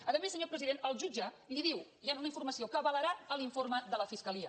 a més senyor president el jutge li diu hi ha una informació que avalarà l’informe de la fiscalia